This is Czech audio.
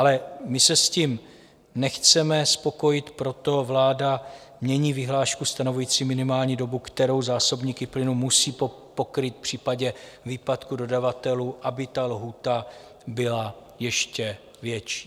Ale my se s tím nechceme spokojit, proto vláda mění vyhlášku stanovující minimální dobu, kterou zásobníky plynu musí pokrýt v případě výpadku dodavatelů, aby ta lhůta byla ještě větší.